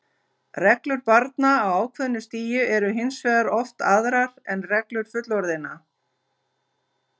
Reglur barna á ákveðnu stigi eru hins vegar oft aðrar en reglur fullorðinna.